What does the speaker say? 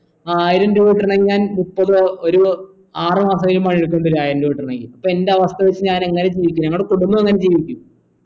ആയിരം രൂപ കിട്ടണെങ്കിൽ ഞാൻ മുപ്പതോ ഒരു ആറുമാസെങ്കിലും പണിയെടുക്കണ്ടി വരു ആയിരം രൂപ കിട്ടാണെങ്കിൽ അപ്പൊ എൻ്റെ അവസ്ഥ വെച്ച് ഞാൻ എങ്ങനെ ജീവിക്കും ഞങ്ങടെ കുടുംബം എങ്ങനെ ജീവിക്കും